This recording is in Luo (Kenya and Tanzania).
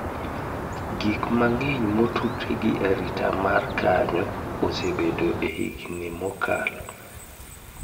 Gik mang'eny motudore gi arita mar kanyo osebedo e higni mokalo